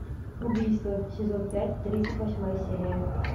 убийство сезон пять тридцать восьмая серия